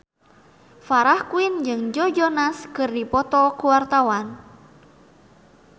Farah Quinn jeung Joe Jonas keur dipoto ku wartawan